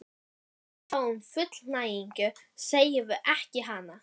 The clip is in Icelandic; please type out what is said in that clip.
þegar við fáum fullnægingu, segjum ekki hana!